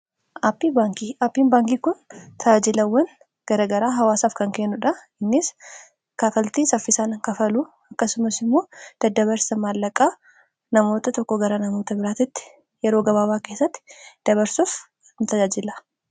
aapiin baankii kun tajaajilawwan garagaraa hawaasaaf kan kennuudha innis kafaltii saffisaan kafalu akkasumas immoo daddabarsa maallaqaa namoota tokko gara namoota biraatitti yeroo gabaabaa keessatti dabarsuuf intajaajila